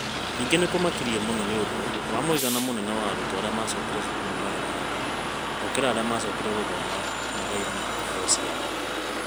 Ningĩ nĩ kũmakirie mũno nĩ ũndũ wa mũigana mũnene wa arutwo arĩa maacokire cukuru marĩ na nda gũkĩra arĩa maacokire gũthoma mathaa-inĩ ma kũheo ciana.